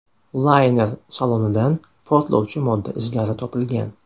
Layner salonidan portlovchi modda izlari topilgan.